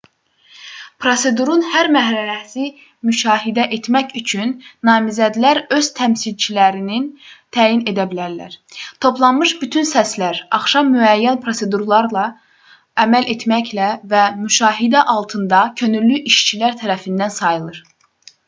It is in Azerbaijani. prosedurun hər mərhələsini müşahidə etmək üçün namizədlər öz təmsilçilərini təyin edə bilər toplanmış bütün səslər axşam müəyyən prosedurlara əməl etməklə və müşahidə altında könüllü işçilər tərəfindən sayılır